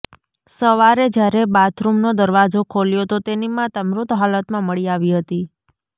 સવારે જ્યારે બાથરૂમનો દરવાજો ખોલ્યો તો તેની માતા મૃત હાલતમાં મળી આવી હતી